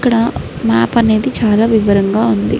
ఇక్కడ మ్యాప్ అనేది చాలా వివరంగా ఉంది.